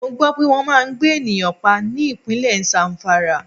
Mo gbó pé wọn máa ń gbé ènìyàn pa ní Ìpínlẹ̀ Zamfara.